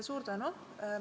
Suur tänu!